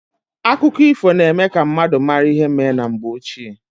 Akụkọ ifo na eme ka mmadụ mara ihe mee na mgbe ochie.